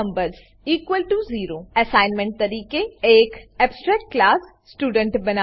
virtual void numbers0 assignment તરીકે એક abstract class student બનાવો